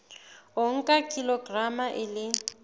o nka kilograma e le